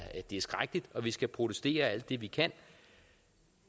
skrækkelige og at vi skal protestere alt det vi kan